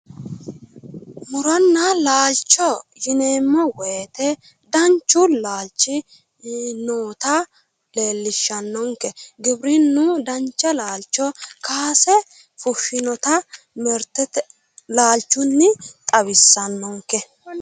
muronna laalcho yineeemmo woyiite danchu laalchi noota leellishshanonke giwirinnu dancha laalcho kaase fushshinota laalchunni xawissannonke.